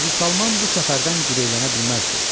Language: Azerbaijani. Hacı Salman bu səfərdən girəylənə bilməzdi.